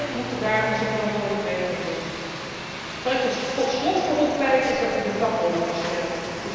Wij moeten daar onze verantwoordelijkheid nemen. Waar ik tot slot voor wil pleiten, is dat we de vakbonden versterken.